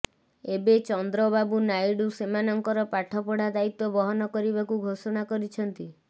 ଏବେ ଚନ୍ଦ୍ରବାବୁ ନାଇଡୁ ସେମାନଙ୍କର ପାଠପଢ଼ା ଦାୟିତ୍ୱ ବହନ କରିବାକୁ ଘୋଷଣା କରିଛନ୍ତି